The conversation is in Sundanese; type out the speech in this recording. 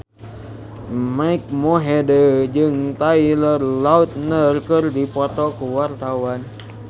Mike Mohede jeung Taylor Lautner keur dipoto ku wartawan